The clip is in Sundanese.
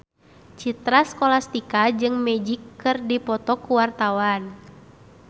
Citra Scholastika jeung Magic keur dipoto ku wartawan